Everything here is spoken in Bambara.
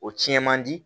O tiɲɛ man di